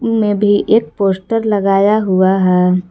में भी एक पोस्टर लगाया हुआ है।